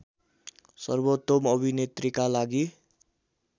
सर्वोत्तम अभिनेत्रीका लागि